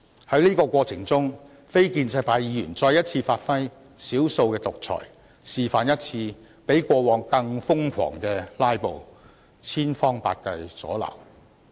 在這個過程中，非建制派議員再一次發揮"少數的獨裁"，示範了一次比過往更瘋狂的"拉布"，千方百計加以阻撓。